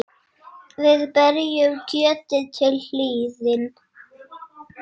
Við berjum kjötið til hlýðni.